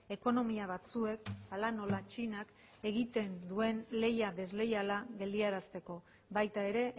ekonomia batzuek hala nola txinak egiten duen leia desleiala geldiarazteko baita ere